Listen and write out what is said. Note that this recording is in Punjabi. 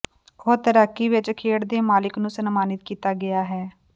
ਉਹ ਤੈਰਾਕੀ ਵਿਚ ਖੇਡ ਦੇ ਮਾਲਕ ਨੂੰ ਸਨਮਾਨਿਤ ਕੀਤਾ ਗਿਆ ਹੈ